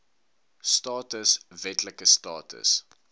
status wetlike status